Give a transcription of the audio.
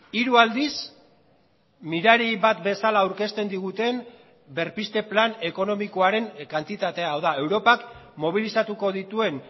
hiru aldiz mirari bat bezala aurkezten diguten berpizte plan ekonomikoaren kantitatea hau da europak mobilizatuko dituen